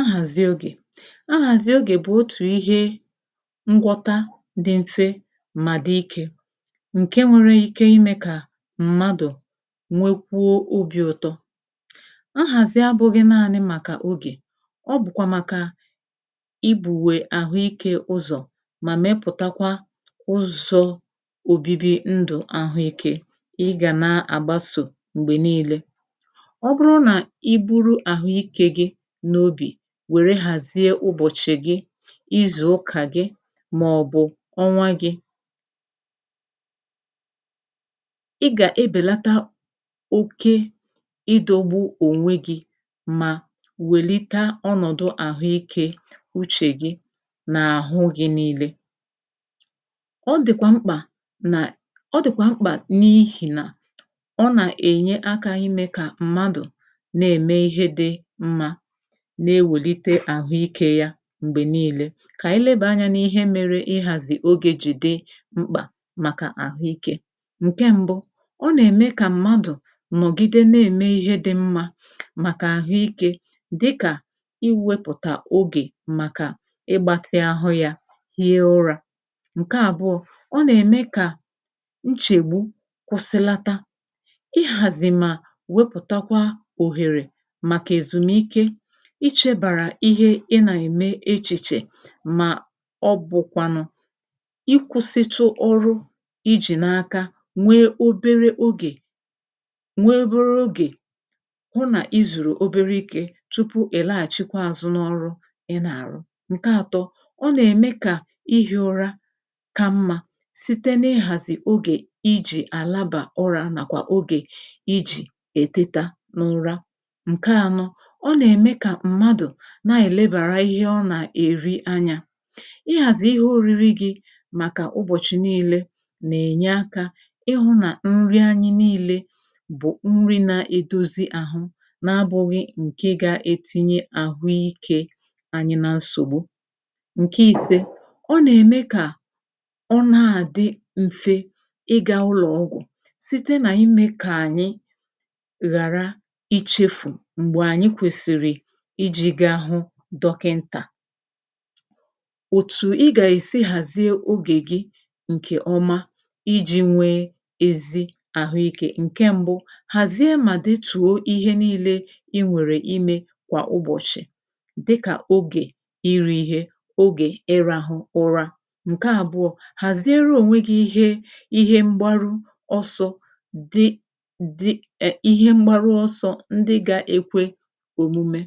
ahàzị ogè ahàzị ogè bụ̀ otù ihe ngwọta di m̀fe mà di ikē ǹke nwere ike imē kà m̀madụ̀ nwekwuo obī ụ̀tọ ahàzị abụ̄ghị màkà ogè ọ bụ̀kwà màkà ibùwè àhụike ụzọ̀ mà mepụ̀takwa ụzọ̄ òbibi ndu àhụike kà ị gà na-àgbasò m̀gbè niilē ọ bụrụ nà i buru àhụ ike gi n’obì wère hàzie ụbọ̀chị̀ gi izùụka gi màọbụ̀ ọnwa gī ị gà-ebèlata oke ịdọ̄gbụ ònwe gī ma wèlita ọnọ̀dụ àhụike uchè gi nà àhụ gi niilē ọ dị̀kwà mkpà na ọ dị̀kwà mkpà n’ihì nà ọ nà-ènye akā ime kà mmadụ̀ na-ème ihe di mmā na-ewèlite àhụike yā m̀gbè niilē kà ànyị lebà anyā n’ihe mere ịhàzị̀ ogē jì di mkpà màkà àhụike ǹke mbu ọ nà-ème kà mmadụ̀ nọ̀gide na-ème ihe di mmā màkà ahụ ikē dịkà iwēpụ̀tà ogè màkà ịgbātị àhụ ya hie ọrā ǹke àbụọ ǹọ nà-ème kà nchègbu kwụsịlata ịhàzị mà wepụ̀takwa òhèrè màkà èzumike ichēbàrà ihe ị nà-ème echìche ma ọ bụ̀kwànụ ịkwụ̄sịtụ ọrụ ijì n’aka nwee obere ogè nwee obere ogè hu nà i zùrù obere ike tupu ị̀ laghàchịkwa àzụ n’ọrụ ị nà-àrụ ǹke àtọ ọ nà-ème kà ihī ọra ka mmā site na-ịhàzị ogè ijì àlaba ụrā màkwà ogè ijì èteta n’ụra ǹke ànọ ọ nà-èmekà mmadụ̀ na-èlebàrà ihe a nà-èri anyā ịhàzị̀ ihe òriri gī màkà ụbọ̀chị niilē nà-ènye akā ihū nà nri anyị̄ niilē bụ̀ nri na-edozi àhụ na-abụ̄ghị ǹkè ga-etinye àhụike bànye na nsògbu ǹke ìse ọ nà-ème kà ọ na-àdị m̀fe ịgā ụlọ̀ ọgwụ̀ site nà imē kà ànyị ghàra ichēfù ùgbò ànyị kwèsìrì ijī gaa hu dọkịntà òtù ị gà-èsi ghàzie ogè gi ǹkè ọma ijī nwee ezi àhụike ǹkè mbu ghàzie mà detuo ihe niilē inwère imē kwà ụbọ̀chị̀ dịkà ogè irī ihe ogè ịrāhụ ụra ǹke àbụọ ghàziere ònwe gi ihe ihe mgbọrụ ọsọ̄ di di e ihe mgbarụ ọsọ̄ ndị ga-ekwe òmume